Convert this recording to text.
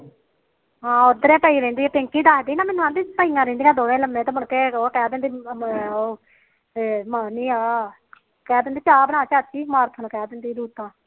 ਹਾ ਉਧਰੇ ਪਈ ਰਹਿੰਦੀ ਪਿੰਕੀ ਦਸਦੀ ਪਈਆ ਰਹਿੰਦੀ ਲੰਮੇ ਤੇ ਮੁੜਕੇ ਉਹ ਕਹਿੰਦੀ ਕਹਿ ਦਿੰਦੀ ਚਾਹ ਬਣਾ